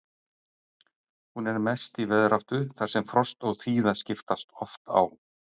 Hún er mest í veðráttu þar sem frost og þíða skiptast oft á.